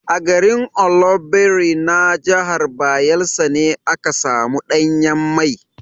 A garin Oloibiri na jahar Bayelsa ne aka samu ɗanyen mai.